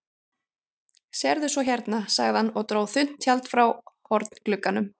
Sérðu svo hérna, sagði hann og dró þunnt tjald frá hornglugganum.